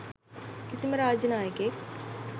කිසිම රාජ්‍ය නායකයෙක්